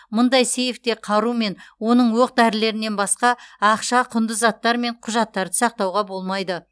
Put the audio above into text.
мұндай сейфте қару мен оның оқ дәрілерінен басқа ақша құнды заттар мен құжаттарды сақтауға болмайды